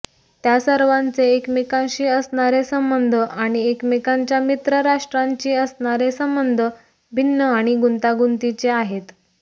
त्या सर्वांचे एकमेकांशी असणारे संबंध आणि एकमेकांच्या मित्रराष्ट्रांशी असणारे संबंध भिन्न आणि गुंतागुंतीचे आहेत